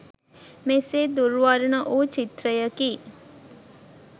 මෙසේ දුර් වර්ණ වූ චිත්‍රයකි.